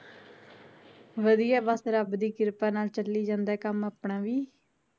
ਵਧੀਆ ਬੱਸ ਰਬ ਦੀ ਕਿਰਪਾ ਨਾਲ ਚਲੀ ਜਾਂਦਾ ਕੰਮ ਆਪਣਾ ਵੀ